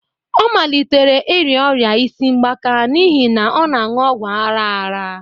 Ọ malitere ịrịa ọrịa isi mgbaka n'ihi na ọ na-anu ọgwụ aghara aghara